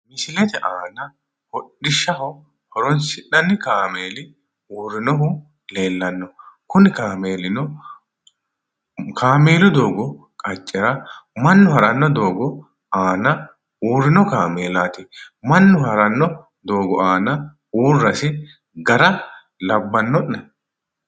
Misilete aana hodhishshaho horonsi'nanni kaameeli uurinohu leellano kuni kaameelino, kaameelu doogo qacha mannu ha'rano doogo aana uurino kaameelati, mannu ha'rano doogo aana uurasi gara labbano'ne?